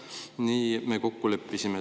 Nii me kokku leppisime.